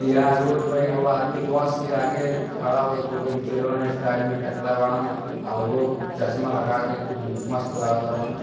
यहां रोड पे एगो आदमी बस के आगे खड़ा होके फोटो खिचवाइले बाड़न स्टाइल में टकला बाड़न। आ उहो चश्मा लगा के खूब मस्त लागताड़न।